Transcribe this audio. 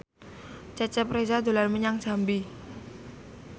Cecep Reza dolan menyang Jambi